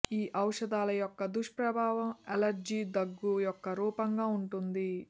ఈ ఔషధాల యొక్క దుష్ప్రభావం అలెర్జీ దగ్గు యొక్క రూపంగా ఉంటుంది